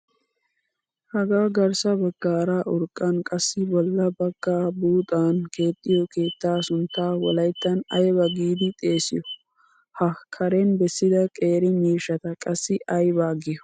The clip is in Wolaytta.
Hagaa garssa baggaara urqqan qassi bolla baggaa buuxan keexxiyo keettaa sunttaa wolayttan ayba giidi xeesiyo? Ha karen bessida qeeri miishshata qassi ayba giyo?